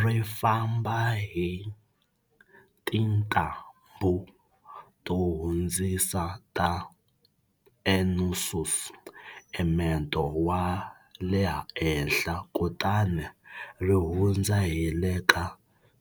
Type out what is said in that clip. Ri famba hi tintambhu to hundzisa ta nsusumeto wa le henhla kutani ri hundza hi le ka